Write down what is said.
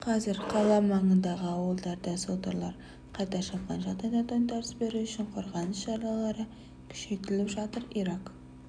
қазір қала маңындағы ауылдарда содырлар қайта шапқан жағдайда тойтарыс беру үшін қорғаныс шаралары күшейтіліп жатыр ирак